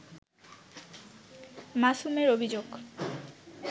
মাসুমের অভিযোগ